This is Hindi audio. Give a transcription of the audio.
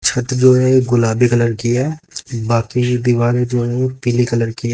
छत जो है गुलाबी कलर की है बाकी जो दीवारें जो है वो पीले कलर की है।